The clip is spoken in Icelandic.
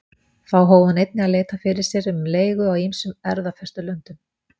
Þá hóf hann einnig að leita fyrir sér um leigu á ýmsum erfðafestulöndum.